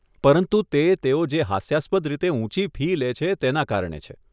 પરંતુ તે તેઓ જે હાસ્યાસ્પદ રીતે ઊંચી ફી લે છે તેના કારણે છે.